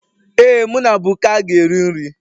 Ee, mụ na Buka ga-eri nri